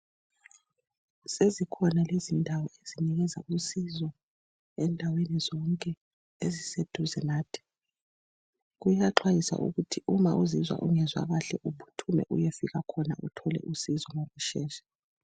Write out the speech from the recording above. Sezikhona iziñdawo ezinengi izilosizo endaweni zonke eziseduze nathi. Kuyaxwayiswa ukuthi uma uzizwa ungezwa kahle uphuthime uyefika khona uthole usizo ngokushesha.